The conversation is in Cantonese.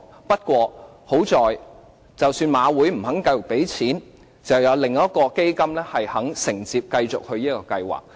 不過，還好，即使香港賽馬會不願意再投放資金，還有另一個基金願意承接這個計劃。